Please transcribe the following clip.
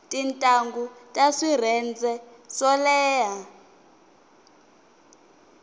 tintangu ta swirhenze swo leha